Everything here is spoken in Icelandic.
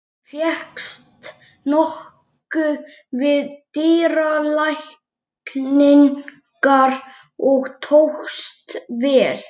Fékkst nokkuð við dýralækningar og tókst vel.